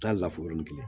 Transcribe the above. Taa lafɔrɔni kelen